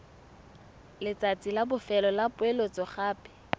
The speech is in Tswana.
letsatsi la bofelo la poeletsogape